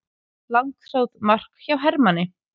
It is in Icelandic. Langþráð mark hjá Hermanni